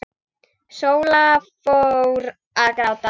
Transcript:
Sóla fór að gráta.